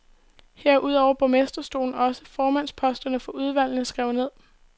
Her er udover borgmesterstolen også formandsposterne for udvalgene skrevet ned.